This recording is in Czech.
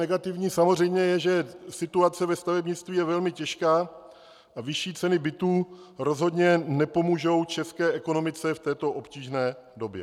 Negativní samozřejmě je, že situace ve stavebnictví je velmi těžká a vyšší ceny bytů rozhodně nepomohou české ekonomice v této obtížné době.